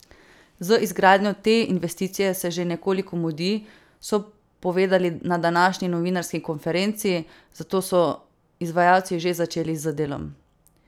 Z izgradnjo te investicije se že nekoliko mudi, so povedali na današnji novinarski konferenci, zato so izvajalci že začeli z delom.